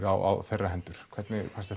á þeirra hendur hvernig fannst